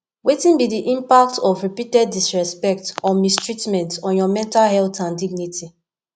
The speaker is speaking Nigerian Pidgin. wetin be di impact of repeated disrespect or mistreatment on your mental health and dignity